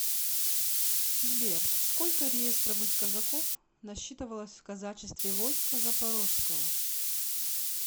сбер сколько реестровых казаков насчитывалось в казачестве войска запорожского